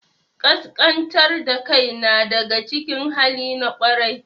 Ƙasƙantar da kai na daga cikin halin ƙwarai.